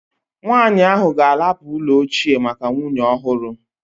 Nwanyị ahụ ga-ahapụ ụlọ ochie maka nwunye ọhụrụ